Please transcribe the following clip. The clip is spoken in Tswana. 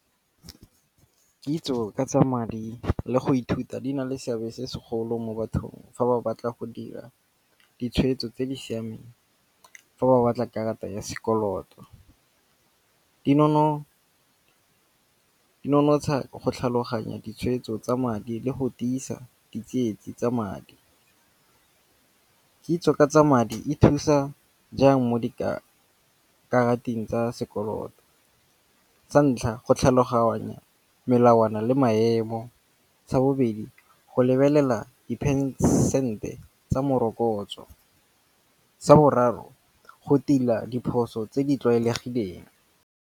Kitso ka tsa madi le go ithuta di na le seabe se segolo mo bathong fa ba batla go dira ditshwetso tse di siameng. Fa ba batla karata ya sekoloto. Dinonotsha go tlhaloganya ditshwetso tsa madi le go tiisa di tsietsi tsa madi. Kitso ka tsa madi e thusa jang mo dikarateng tsa sekoloto. Sa ntlha go tlhaloganya melawana le maemo, sa bobedi go lebelela di percent-e tsa morokotso, sa boraro go tila diphoso tse di tlwaelegileng.